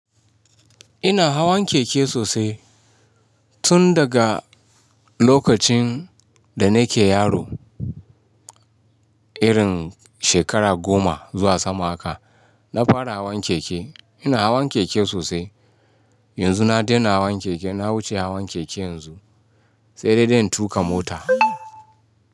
Ina hawan keke sosai tun daga lokacin da nake yaro, irin shekara goma zuwa sama haka na fara hawan keke. Ina hawan keke sosai. Yanzu na daina hawan keke, na wuce hawan keke yanzu sai dai zan tuƙa mota.